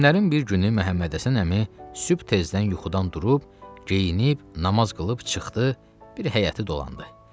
Günlərin bir günü Məhəmmədhəsən əmi sübh tezdən yuxudan durub, geyinib, namaz qılıb çıxdı, bir həyəti dolandı.